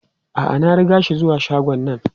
A'a, na riga shi zuwa shagon nan.